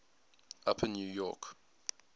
upper new york